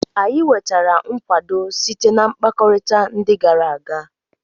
Anyị nwetara nkwado site na mkpakọrịta ndị gara aga.